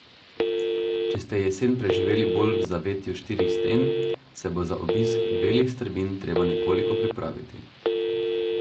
Če ste jesen preživeli bolj v zavetju štirih sten, se bo za obisk belih strmin treba nekoliko pripraviti.